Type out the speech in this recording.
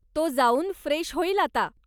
तो जाऊन फ्रेश होईल आता.